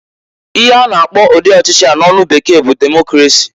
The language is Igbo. Ihe a na akpọ ụdị ọchị a n'onu bekee bụ Democrasi.